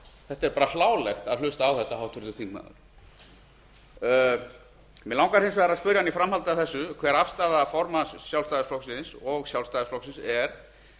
þetta er bara hlálegt að hlusta á þetta háttvirtur þingmaður mig langar hins vegar að spyrja hann í framhaldi af þessu hver afstaða formanns sjálfstæðisflokksins og sjálfstæðisflokksins er